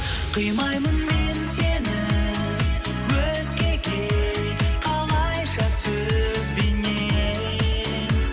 қимаймын мен сені өзгеге қалайша сөзбенен